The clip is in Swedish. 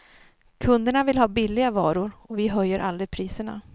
Kunderna vill ha billiga varor, och vi höjer aldrig priserna.